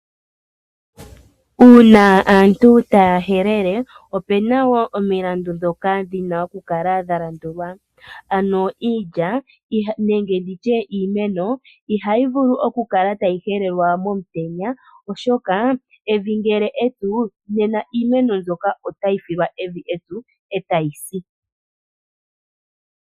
Uuna aantu taya helele opu na wo omilandu ndhoka dhi na okukala dha landulwa. Ano iilya nenge ndi tye iimeno ihayi vulu okukala tayi helelwa momutenya, oshoka evi ngele epyu nena iimeno mbyoka otayi filwa evi epyu e tayi si.